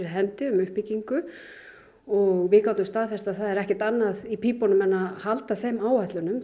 hendi um uppbyggingu og við gátum staðfest að það er ekkert annað í pípunum en að halda þeim áætlunum